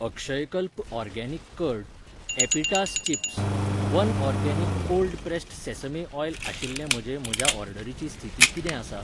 Akshayakalpa organic curd, एपिटास chips, one organic cold pressed sesame oil आशिल्ले म्हजे म्हज्या ऑर्डरीची स्थिती कितें आसा?